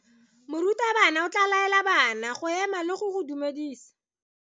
Morutabana o tla laela bana go ema le go go dumedisa.